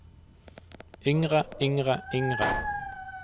yngre yngre yngre